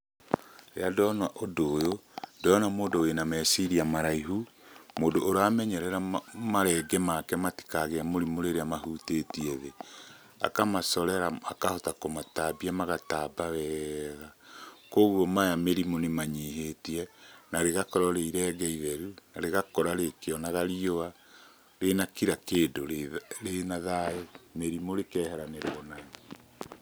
Rĩrĩa ndona ũndũ ũyũ ndĩrona mũndũ wĩna meciria maraihu, mũndũ ũramenyerera marenge make matikagĩe mũrimũ rĩrĩa mahutĩtie thĩ. Akamacorera akahota kũmatambia magatamba wega, koguo maya mĩrimũ nĩmanyihĩtie. Na rĩgakorwo rĩ irenge itheru na rĩgakũra rĩkĩonaga riũa, rĩna kira kĩndũ, rĩna thayũ mĩrimũ rĩkeheranĩrwo nayo.